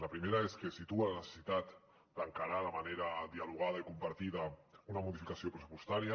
la primera és que situa la necessitat d’encarar de manera dialogada i compartida una modificació pressupostària